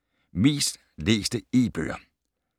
Mest læste e-bøger